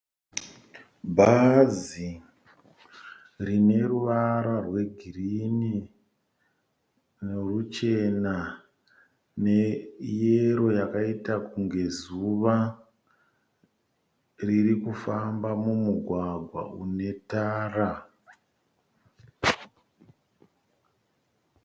Bhazi rine ruvara rwegreen, neruchena neyero yakaita kunge zuva, riri kufamba mumugwagwa une tara.